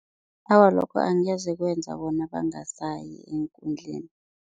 Awa, lokho angeze kwenza bona bangasayi eenkundleni.